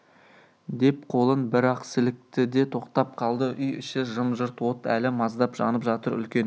деп қолын бір-ақ сілікті де тоқтап қалды үй іші жым-жырт от әлі маздап жанып жатыр үлкен